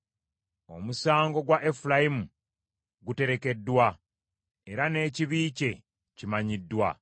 Omusango gwa Efulayimu guterekeddwa, era n’ekibi kye kimanyiddwa.